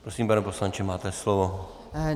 Prosím, pane poslanče, máte slovo.